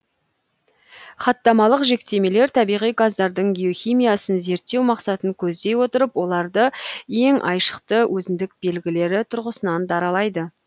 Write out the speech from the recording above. хаттамалық жіктемелер табиғи газдардың геохимиясын зерттеу мақсатын көздей отырып оларды ең айшықты өзіндік белгілері тұрғысынан даралайды